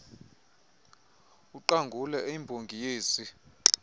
uqangule eyimbongi yezi